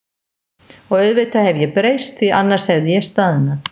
Og auðvitað hef ég breyst, því að annars hefði ég staðnað.